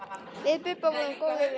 Við Bubba vorum góðir vinir.